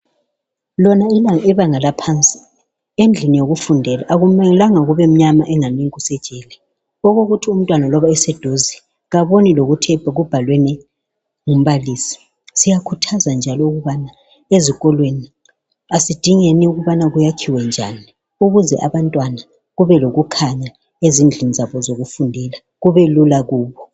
Lona ibanga laphansi endlini yokufundela akumelanga kube mnyama angani kusejele okokuthi umntwana loba eseduze kaboni lokuthi kubhalweni umbalisi siyakhuthaza njalo ukubana ezikolweni asidingeni ukubana kwakhiwe njani ukuze abantwana kube lokukhanya ezidlini zabo zokufundela kubelula kubo.